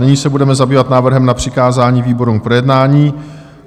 Nyní se budeme zabývat návrhem na přikázání výborům k projednání.